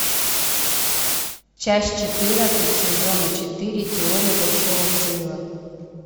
часть четырнадцать сезона четыре теория большого взрыва